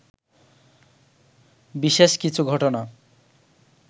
বিশেষ কিছু ঘটনা